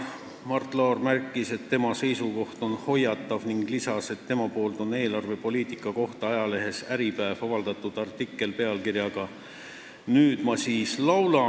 Mart Laar märkis, et tema seisukoht on hoiatav, ning lisas, et ta on eelarvepoliitika kohta avaldanud ajalehes Äripäev artikli pealkirjaga "Nüüd ma siis laulan".